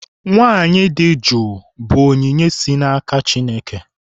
Nwaanyị di jụụ bụ onyinye si n'aka Chineke.